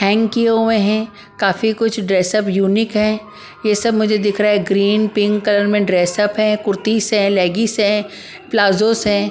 Hang किए हुए हैं काफी कुछ ड्रेस अप यूनिक है ये सब मुझे दिख रहा है ग्रीन पिंक कलर में ड्रेस अप है कुर्तीस है लेगीस है प्लाजोस है ।